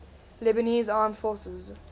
lebanese armed forces